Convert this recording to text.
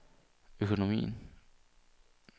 økonomien